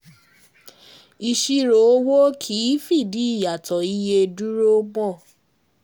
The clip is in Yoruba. Ìṣirò owó kìí fìdí ìyàtọ̀ iye dúró mọ́.